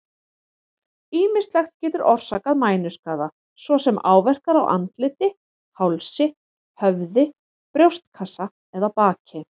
Ýmislegt getur orsakað mænuskaða, svo sem áverkar á andliti, hálsi, höfði, brjóstkassa eða baki.